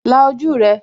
La ojú rẹ